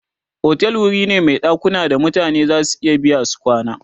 otel wuri ne Mai ɗakuna da mutane zasu iya biya su kwana